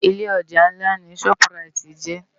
Ilé òjá nlá ni ṣòp ráit jè